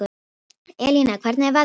Elína, hvernig er veðrið úti?